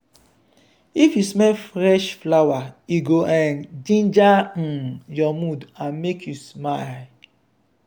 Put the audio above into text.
if you smell fresh flower e go um ginger um your mood and make you smile.